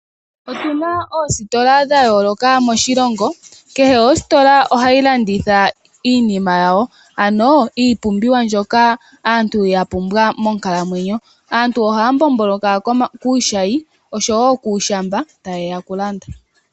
Otuna oositola dhayooloka moshilongo . Kehe ositola ohayi landitha iinima yawo ano iipumbiwa mbyoka aantu yapumbwa monkalamwenyo. Aantu ohaya mbomboloka kuushayi oshowoo kuushamba tayeya okulanda.